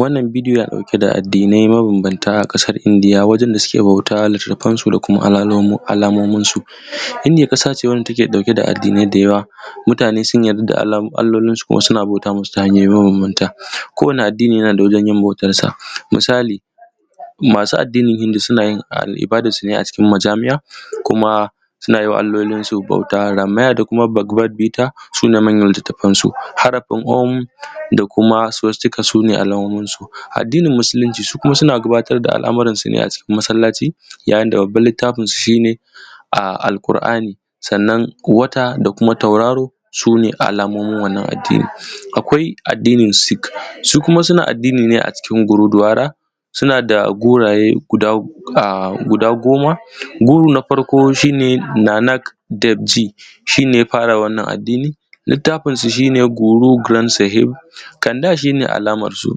wannan bidiyon na ɗauke da addinai mabambanta ƙasar indiya wajen da suke bautansu da kuma alamomin su indiya ƙasa ce wanda take ɗauke da addinai da yawa mutane sun yarda da allolinsu kuma suna bauta musu ta hanya mabambanta ko wane addini yana da wajen yin bautansa misali masu addinin hindu suna yin na su ne a majami'a kuma suna yin ma allolinsu bauta ramaya da kuma bakbabita su ne manyan littattafai su harafun omk da kuma sustika sune alamomin su addinin musulunci su kuma suna gabatar da al’ammuran su ne a masallaci yayin da babban littafin su shi ne al’ƙur'ani sannan wata da kuma tauraro su ne alamomin wannan addinin akwai addinin sik su kuma suna addini ne a cikin guroduwara suna da goraye guda goma guru na farko shi ne nanaf dafji shine ya fara wannan addini littafinsa shine goroguransahi canda shi ne alamansu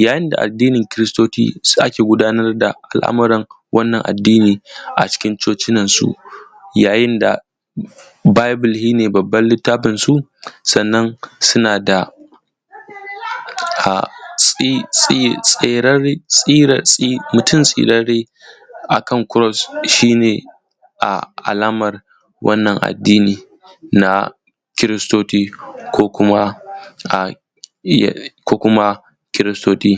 yayin da addinin kristoci ake gudanar da al’ammuran wannan addini a cikin cocinansu yayin da bible shine babban littafinsu sannan suna da mutum tsirarre a kan cross shine alaman wannan addini na kristoci ko kuma kristoci